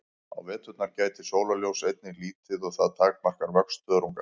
Á veturna gætir sólarljóss einnig lítið og það takmarkar vöxt þörunga.